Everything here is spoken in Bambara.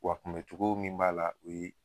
Wa Kunbɛ cogo min b'a la, o ye